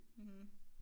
Mh